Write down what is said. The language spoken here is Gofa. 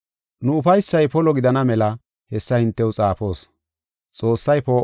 Nu ufaysay polo gidana mela hessa hintew xaafoos.